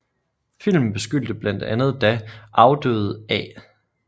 Filmen beskyldte blandt andet da afdøde A